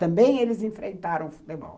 Também eles enfrentaram o futebol.